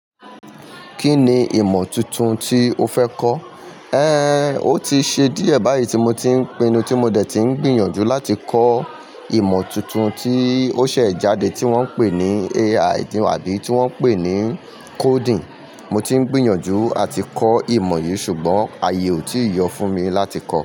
Kí ni ìmọ̀ tuntun tí o fẹ́ kọ́? Ehn, ó ti ṣe díẹ̀ báyìí tí mo ti ń pinnu tí mo dẹ ti ń gbìyànjú láti kọ́ ìmọ̀ tuntun tí ó ṣẹ̀ jáde tí wọ́n ń pè ní AI àbí tí wọ́n ń pè ní coding. Mo ti ń gbìyànjú àti kọ́ ìmọ̀ yìí ṣùgbọ́n ayé ò tíì yọ fún mi láti kọ́.